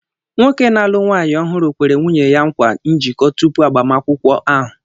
Nwoke na-alụ nwaanyị ọhụrụ kwere nwunye ya nkwa njiko tupu agbamakwụkwọ ahụ.